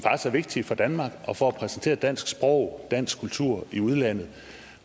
vigtige for danmark og for at præsentere dansk sprog og dansk kultur i udlandet